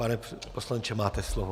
Pane poslanče, máte slovo.